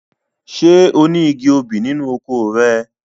Ṣé oní igi obì nínú oko rẹ?